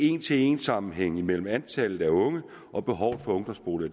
en til en sammenhæng mellem antallet af unge og behovet for ungdomsboliger